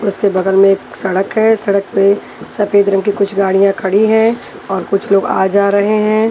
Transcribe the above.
उसके बगल में एक सड़क है सड़क पे सपेद रंग की कुछ गाड़िया खड़ी है और कुछ लोग आ जा रहे है।